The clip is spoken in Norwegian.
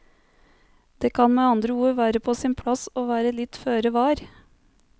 Det kan med andre ord være på sin plass å være litt føre var.